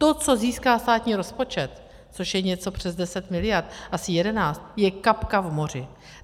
To, co získá státní rozpočet, což je něco přes 10 miliard, asi 11, je kapka v moři.